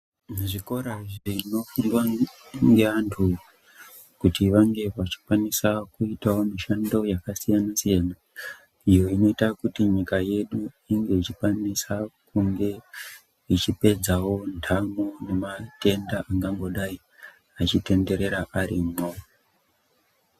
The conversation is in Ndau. Zvikora zvnofundwa ngevantu kuti vange vachikwanisa kuitawo mishando yakasiyana siyana iyo inoita kuti nyika yedu inge ichikwanisa kunge ichipedzawo ntamo nematenda angangodayi achitenderera arimwo.